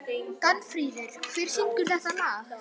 Danfríður, hver syngur þetta lag?